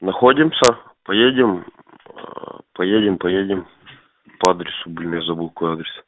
находимся поедем поедем поедем по адресу блин я забыл какой адрес